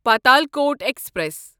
Patalkot express